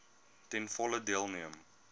ten volle deelneem